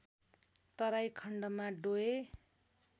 तराई खण्डमा डोय